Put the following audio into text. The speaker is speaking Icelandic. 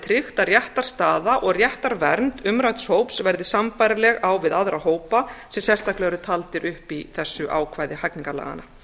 tryggt að réttarstaða og réttarvernd umrædds hóps verði sambærileg á við aðra hópa sem sérstaklega eru taldir upp í þessu ákvæði hegningarlaganna